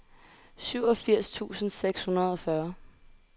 syvogfirs tusind seks hundrede og fyrre